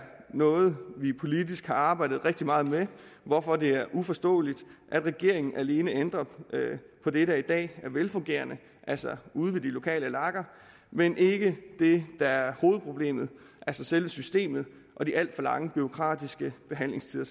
noget vi politisk har arbejdet rigtig meget med hvorfor det er uforståeligt at regeringen alene ændrer på det der i dag er velfungerende altså ude ved de lokale lager men ikke det der er hovedproblemet altså selve systemet og de alt for lange bureaukratiske behandlingstider